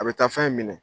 A bɛ taa fɛn minɛ